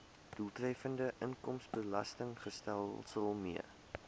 doeltreffende inkomstebelastingstelsel mee